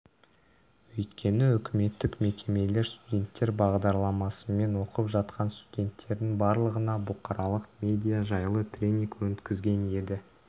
өйткені үкіметтік мекемелер студенттер бағдарламасымен оқып жатқан студенттердің барлығына бұқаралық медиа жайлы тренинг өткізген еді